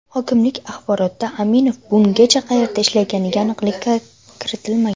Hokimlik axborotida Aminov bungacha qayerda ishlaganiga aniqlik kiritilmagan.